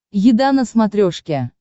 еда на смотрешке